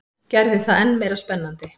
Gerði það enn meira spennandi.